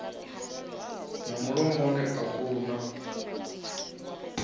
na mulomoni a ku na